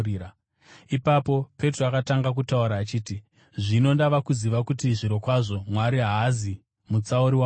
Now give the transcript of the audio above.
Ipapo Petro akatanga kutaura achiti, “Zvino ndava kuziva kuti zvirokwazvo Mwari haazi mutsauri wavanhu